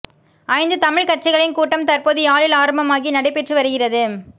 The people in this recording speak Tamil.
ஐந்து தமிழ்க் கட்சிகளின் கூட்டம் தற்போது யாழில் ஆரம்பமாகி நடைபெற்று வருகிறது